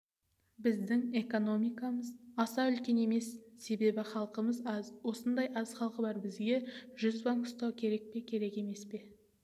біздің экономикамыз аса үлкен емес себебі халқымыз аз осындай аз халқы бар бізге жүз банк ұстау керек пе керек емес пе